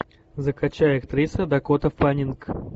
закачай актриса дакота фаннинг